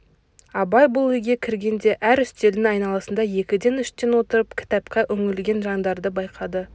абай бұл үйге кіргенде әр үстелдің айналасында екіден үштен отырып кітапқа үңілген жандарды байқады